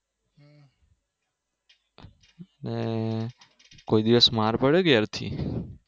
હમ કોઈ દિવસ માર પડે ઘેરથી